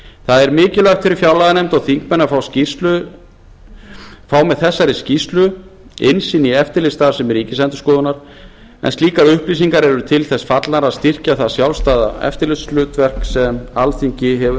það er mikilvægt fyrir fjárlaganefnd og þingmenn að fá með þessari skýrslu innsýn í eftirlitsstarfsemi ríkisendurskoðunar en slíkar upplýsingar eru til þess fallnar að styrkja það sjálfstæða eftirlitshlutverk sem alþingi hefur